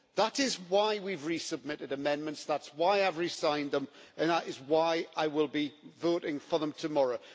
That is why we've re submitted amendments, that is why I've re-signed them, and that is why I will be voting for them tomorrow.